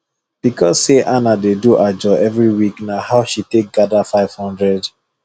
because say ana dey do ajo every week na how she take gather 500